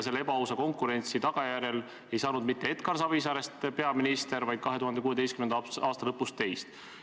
Selle ebaausa konkurentsi tagajärjel ei saanud mitte Edgar Savisaarest peaminister, vaid 2016. aasta lõpus sai teist.